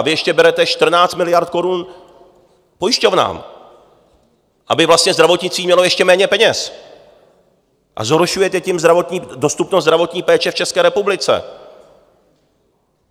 A vy ještě berete 14 miliard korun pojišťovnám, aby vlastně zdravotnictví mělo ještě méně peněz, a zhoršujete tím dostupnost zdravotní péče v České republice.